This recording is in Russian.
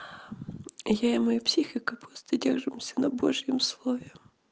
я и моя психика просто держимся но божьем слове